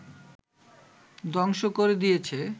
ধ্বংস করে দিয়েছে